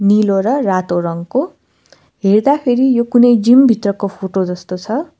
नीलो र रातो रङको हेर्दाखेरि यो कुनै जिम भित्रको फोटो जस्तो छ।